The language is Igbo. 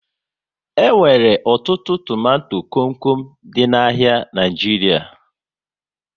E nwere ọtụtụ tomato kom kom dị n'ahia Naijiria